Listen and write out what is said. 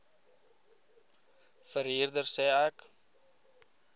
verhuurder sê ek